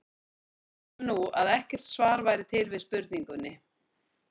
Segjum nú, að ekkert svar væri til við spurningunni.